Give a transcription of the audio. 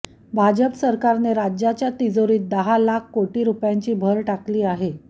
भाजप सरकारने राज्याच्या तिजोरीत दहा लाख कोटी रुपयांची भर टाकली आहे